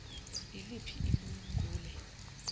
iliphi ilun gule